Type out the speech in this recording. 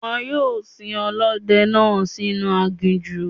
Wọ́n yóò sin Ọlọ́dẹ náà sì inú aginjù.